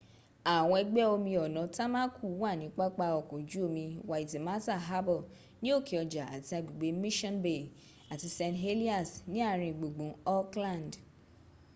àwọn ẹ̀gbẹ́ omi ọ̀nà tamaku wà ní pápá ọkọ̀ ojú omi waitemata harbour ní òkéọjà àti agbègbè mission bay àti st heliers ní àringbùngbùn auckland